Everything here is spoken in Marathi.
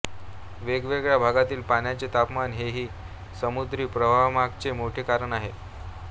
वेगवेगळ्या भागांतील पाण्याचे तापमान हेही समुद्री प्रवाहांमागचे मोठे कारण आहे